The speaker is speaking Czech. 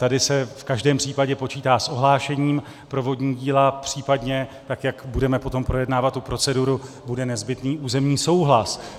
Tady se v každém případě počítá s ohlášením pro vodní díla, případně, tak jak budeme potom projednávat tu proceduru, bude nezbytný územní souhlas.